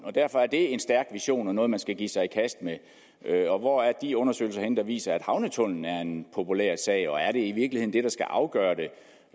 er derfor det er en stærk vision og noget man skal give sig i kast med og hvor er de undersøgelser henne der viser at havnetunnelen er en populær sag og er det i virkeligheden det der skal afgøre det